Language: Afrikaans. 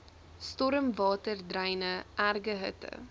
stormwaterdreine erge hitte